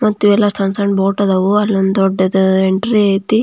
ಮತ್ತೆ ಇವೆಲ್ಲ ಸಣ್ಣ ಸಣ್ಣ ಬೋಟ್ ಅದಾವು ಅಲ್ಲೊಂದು ದೊಡ್ಡದು ಎಂಟ್ರಿ ಐತಿ.